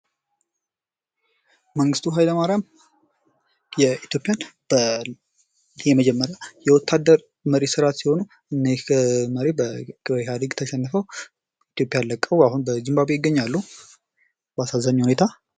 መንግስቱ ኃይለማርያም የኢትዮጵያ በመጀመሪያ የወታደር መሪ ስነ ስርዓት ሲሆኑ ይህ መሪ በኢህአዴግ ተሸንፎ ኢትዮጵያን ለቀው አሁን በዙምባቡዌ ይገኛሉ በአሳዛኝ ሁኔታ ።